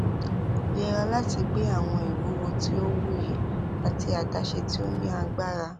yẹra lati gbe awọn iwuwo ti o wuyi ati adaṣe ti o ni agbara